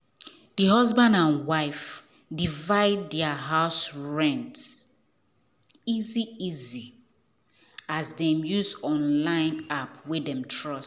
the husband and wife divide their monthly house rent easy easy as dem use online app wey dem trust.